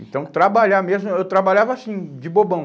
Então, trabalhar mesmo... Eu trabalhava assim, de bobão.